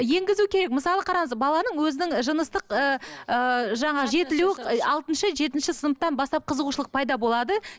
енгізу керек мысалы қараңыз баланың өзінің жыныстық ыыы жаңа жетілуі алтыншы жетінші сыныптан бастап қызығушылық пайда болады